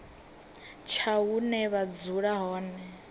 tsha hune vha dzula hone